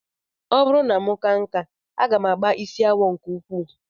Ọ bụrụ na m kaa nkà, aga m agba isi awọ nke ukwuu